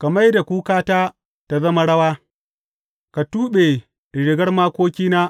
Ka mai da kukata ta zama rawa; ka tuɓe rigar makokina